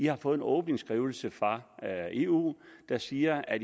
har fået en åben skrivelse fra eu der siger at